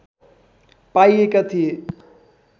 पाइएका थिए